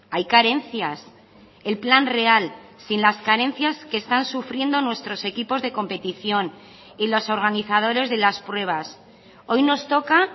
hay carencias el plan real sin las carencias que están sufriendo nuestros equipos de competición y los organizadores de las pruebas hoy nos toca